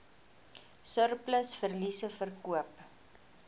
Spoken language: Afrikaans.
surplus verliese verkoop